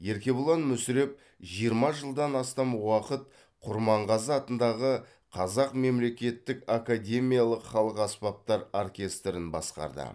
еркебұлан мүсіреп жиырма жылдан астам уақыт құрманғазы атындағы қазақ мемлекеттік академиялық халық аспаптар оркестрін басқарды